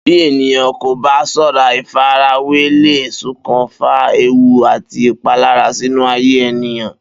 Bí ènìyàn kò bá s̩ó̩ra, ìfarawé lè s̩okùnfà ewu àti ìpalára sínú ayé ènìyàn